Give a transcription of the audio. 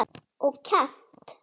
Og kennt.